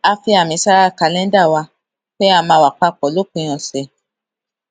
a fi àmì sára kàléńdà wa pé a máa wà pa pò ní òpin òsè